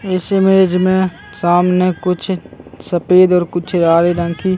इस इमेज में सामने कुछ सफ़ेद और कुछ लाल रंग की --